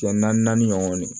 Cɛ naani naani ɲɔgɔn